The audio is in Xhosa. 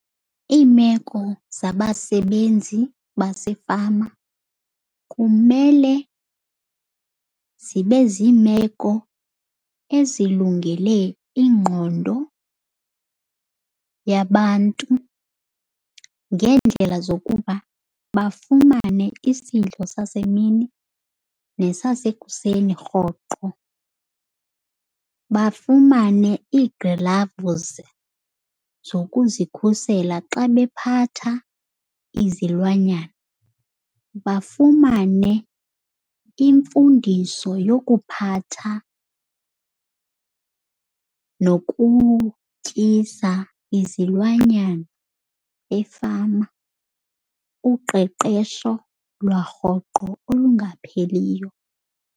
Iimeko zabasebenzi basefama kumele zibe zimeko ezilungele ingqondo yabantu ngeendlela zokuba bafumane isidlo sasemini nesasekuseni rhoqo. Bafumane iigilavuzi zokuzikhusela xa bephatha izilwanyana, bafumane imfundiso yokuphatha nokutyisa izilwanyana efama, uqeqesho lwarhoqo olungapheliyo.